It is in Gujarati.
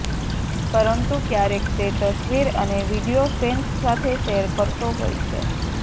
પરંતુ ક્યારેક તે તસવીર અને વીડિયો ફેન્સ સાથે શેર કરતો હોય છે